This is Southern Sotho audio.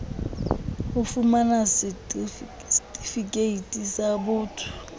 ho fumana setifikeiti sa botho